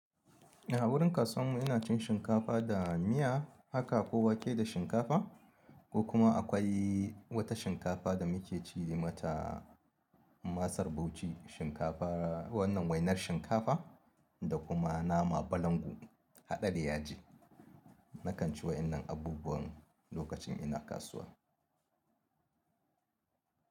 A wurin kasuwar mu ina cin shinkafa da miya haka ko wake da shinkafa ko kuma akwai wata shinkafa da muke ce mata masar Bauchi shinkafa wannan wainar shinkafa da kuma nama balangu haɗe da yaji. Nakan ci waɗannan abubuwan lokacin ina kasuwa.